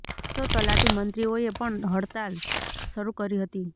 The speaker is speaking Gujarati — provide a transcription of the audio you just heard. તો તલાટી મંત્રીઓએ પણ હડતાળ શરૂ કરી હતી